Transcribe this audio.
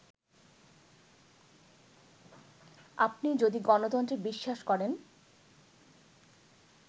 আপনি যদি গণতন্ত্রে বিশ্বাস করেন